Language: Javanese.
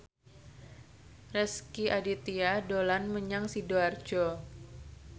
Rezky Aditya dolan menyang Sidoarjo